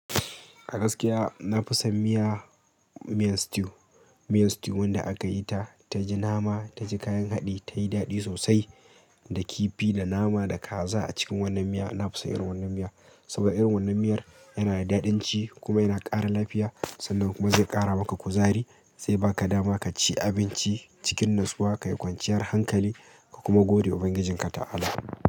A gaskiya na fi son miya, miyan stew. Miyan stew wanda aka yi ta, ta ji nama, ta ji kayan haɗi, tayi daɗi sosai. Da kifi, da nama, da kaza a cikin wannan miya. Na fi son irin wannan miya saboda irin wannan miyar yana da daɗanci kuma yana ƙara lafiya, sannan kuma zai ƙara maka kuzari, zai baka dama ka ci abinci cikin natsuwa, ka yi kwanciyar hankali ka kuma godewa Ubangijinka ta'ala.